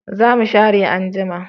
Za mu share anjima